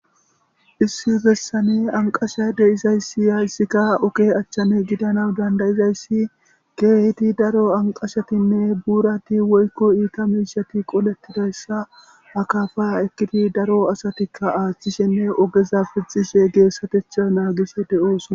Issi bessani anqasha de izayssi yayssikka oke achchane gidana dandayizayssi geehiti daro anqashatinne buurati woykko iita miishati qoletidayssa hakafa ekkiti daro asatikka aathchishenne ogeza pixishe geessatecha naagisi de'oosona.